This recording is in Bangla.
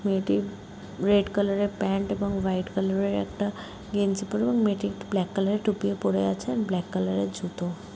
মেয়েটি রেড কালারের প্যান্ট এবং হোয়াইট কালারের একটা গেঞ্জি পরে এবং ব্ল্যাক কালারের টুপিও পরে আছে ব্ল্যাক কালারের জুতো।